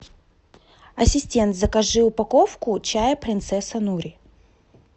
ассистент закажи упаковку чая принцесса нури